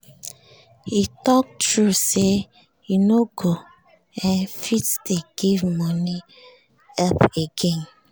he talk true say e no go um fit dey give money help again